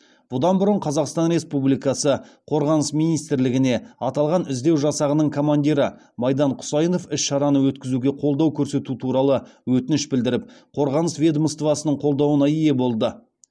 бұдан бұрын қазақстан республикасы қорғаныс министрлігіне аталған іздеу жасағының командирі майдан құсайынов іс шараны өткізуге қолдау көрсету туралы өтініш білдіріп қорғаныс ведомствасының қолдауына ие болды